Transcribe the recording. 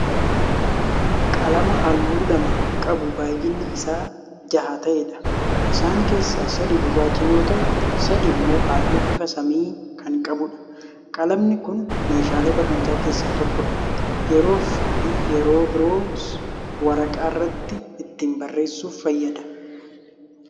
Qalama halluu lama qabu baay'inni Isaa jaha ta'eedha. isaan keessaa sadi gurraacha yoo ta'u sadi immoo halluu bifa samii Kan qabuudha. qalamni Kuni meeshaalee barnootaa keessaa tokkoodha. yeroofi yeroo biroos waraqaarratti ittiin barreessuuf fayyada.